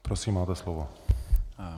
Prosím, máte slovo.